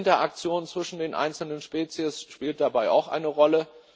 Die Interaktion zwischen den einzelnen Spezies spielt dabei auch eine Rolle.